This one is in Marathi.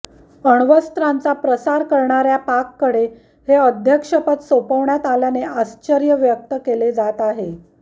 अण्वस्त्रांचा प्रसार करणार्या पाककडे हे अध्यक्षपद सोपवण्यात आल्याने आश्चर्य व्यक्त केले जात आहे